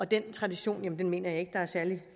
den tradition mener jeg ikke der er særlig